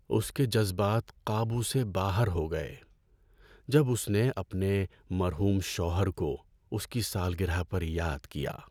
اس کے جذبات قابو سے باہر ہو گئے جب اس نے اپنے مرحوم شوہر کو اس کی سالگرہ پر یاد کیا۔